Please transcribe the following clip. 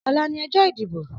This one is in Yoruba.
Ọlà ni ọjọ idibó